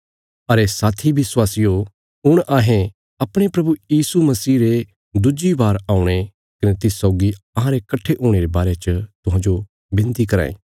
अरे साथी विश्वासियो हुण अहें अपणे प्रभु यीशु मसीह रे दुज्जी बार औणे कने तिस सौगी अहांरे कट्ठे हुणे रे बारे च तुहांजो विनती कराँ ये